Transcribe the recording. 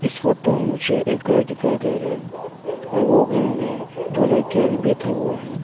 इस फोटो मुझे एक घर दिखाई दे रहा है और वो घर में दो लड़कियां भी बैठा हुआ है।